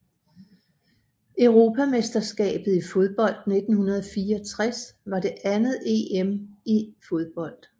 Europamesterskabet i fodbold 1964 var det andet EM i fodbold